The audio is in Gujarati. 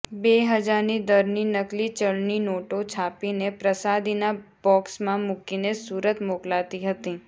બે હજારની દરની નકલી ચલણી નોટો છાપીને પ્રસાદીના બોકસમાં મૂકીને સુરત મોકલાતી હતી